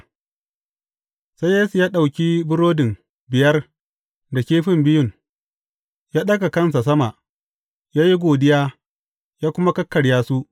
Sai Yesu ya ɗauki burodin biyar da kifin biyun, ya ɗaga kansa sama, ya yi godiya, ya kuma kakkarya su.